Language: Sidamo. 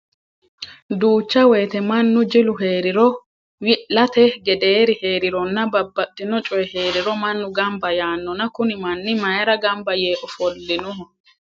Duucha woyiite mannu jilu heeriro, wi'late gedeeri heerironna babbaxino coyii heeriro mannu gamba yaannona Kuni manni mayiira gamba yee ofolinoho?